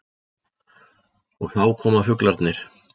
Og þá koma fuglarnir.